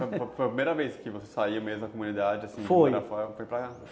foi foi a primeira vez que você saiu mesmo da comunidade, assim, foi para cá? Foi.